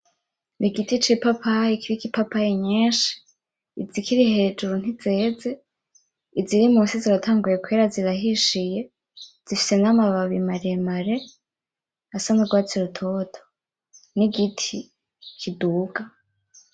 Ni igiti c'ipapayi kiriko ipapayi nyinshi, izikiri hejuru ntizeze, iziri musi ziratanguye kwera zirahishiye zifise n'amababi maremare asa nk'urwatsi rutoto, n'igiti kiduga.